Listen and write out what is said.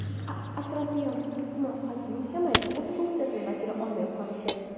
Atrofiya to‘qima hajmining kamayib, o‘z funksiyasini bajara olmay qolishi.